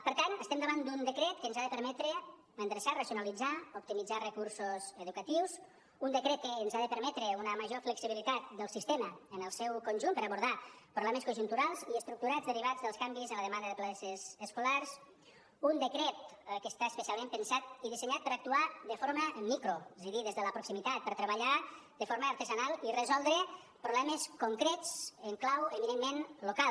per tant estem davant d’un decret que ens ha de permetre endreçar racionalitzar optimitzar recursos educatius un decret que ens ha de permetre una major flexibilitat del sistema en el seu conjunt per abordar problemes conjunturals i estructurals derivats dels canvis en la demanda de places escolars un decret que està especialment pensat i dissenyat per actuar de forma micro és a dir des de la proximitat per treballar de forma artesanal i resoldre problemes concrets en clau eminentment local